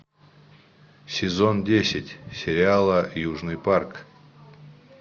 сезон десять сериала южный парк